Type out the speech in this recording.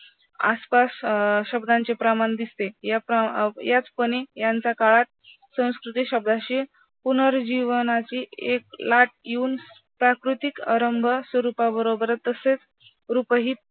आसपास अं शब्दांचे प्रमाण दिसते याचपणे यांचा काळात संस्कृती शब्दांची पुनर्जीवनाची एक लाट येऊन प्राकृतिक आरंभ तसेच रूपही